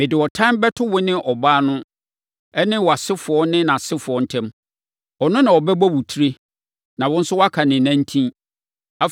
Mede ɔtan bɛto wo ne ɔbaa no ne wʼasefoɔ ne nʼasefoɔ ntam. Ɔno na ɔbɛbɔ wo tire, na wo nso woaka ne nantin.”